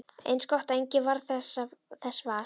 Eins gott að enginn varð þess var!